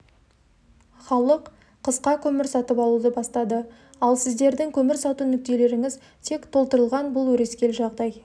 халық қысқа көмір сатып алуды бастады ал сіздердің көмір сату нүктелеріңіз тек толтырылған бұл өрескел жағдай